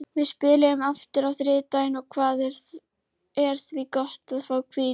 Við spilum aftur á þriðjudaginn og það er því gott að fá hvíld.